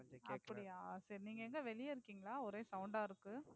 அப்படியா சரி நீங்க எங்க வெளிய இருக்கீங்களா ஒரே sound ஆஹ் இருக்கு.